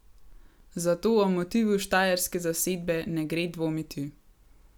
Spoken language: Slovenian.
Zato o motivu štajerske zasedbe ne gre dvomiti.